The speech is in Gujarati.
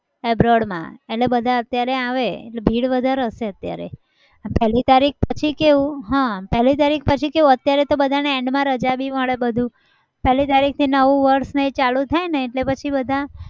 abroad માં એટલે બધા અત્યારે આવે એટલે ભીડ વધારે હશે અત્યારે. પહેલી તારીખ પછી કેવું હ પહેલી તારીખ પછી કેવું? અત્યારે તો બધાને end માં રજા બી મળે બધું. પહેલી તારીખ નવું વર્ષને એ ચાલુ થાય એટલે પછી બધા